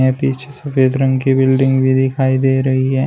पीछे सफेद रंग की बिल्डिंग भी दिखाई दे रही है।